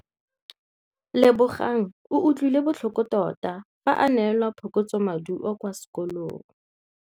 Lebogang o utlwile botlhoko tota fa a neelwa phokotsômaduô kwa sekolong.